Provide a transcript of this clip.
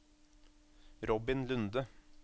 Robin Lunde